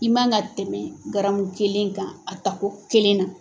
I man ka tɛmɛ garamu kelen kan a tako kelen na.